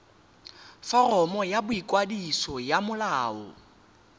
foromo ya boikwadiso ya molao